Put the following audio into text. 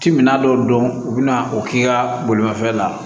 Ti minan dɔw dɔn u bɛna o k'i ka bolimafɛn la